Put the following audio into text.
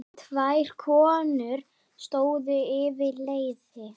Tvær konur stóðu yfir leiði.